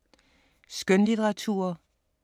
Skønlitteratur